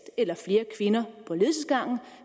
eller flere kvinder på ledelsesgangen